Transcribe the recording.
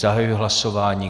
Zahajuji hlasování.